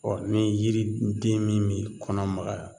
ni yiri den min mi kɔnɔ magaya